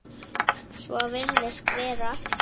Þannig var með þig.